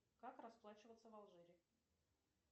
как расплачиваться в алжире